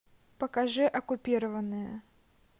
покажи оккупированные